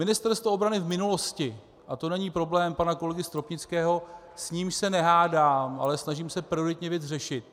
Ministerstvo obrany v minulosti - a to není problém pana kolegy Stropnického, s nímž se nehádám, ale snažím se prioritně věc řešit.